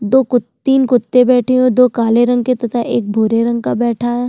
दो कुत्ते तीन कुत्ते बैठे हुए है दो काले रंग के तथा एक भूरे रंग का बैठा हुआ है।